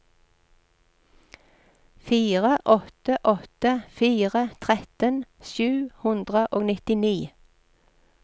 fire åtte åtte fire tretten sju hundre og nittini